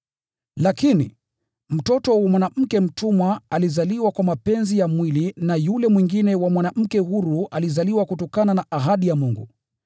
Lakini, mtoto wa mwanamke mtumwa alizaliwa kwa mapenzi ya mwili, na yule mwingine wa mwanamke huru alizaliwa kutokana na ahadi ya Mungu.